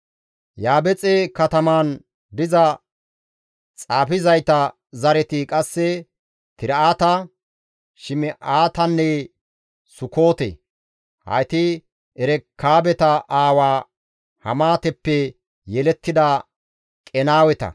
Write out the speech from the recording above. Yaabexe katamaan diza xaafizayta zareti qasse Tir7ata, Shim7aatanne Sukoote; hayti Erekaabeta aawaa Hamaateppe yelettida Qenaaweta.